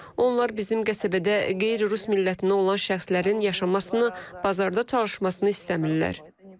Onlar bizim qəsəbədə qeyri-rus millətindən olan şəxslərin yaşamasını, bazarda çalışmasını istəmirlər.